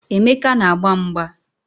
Emeka na-agba mgba.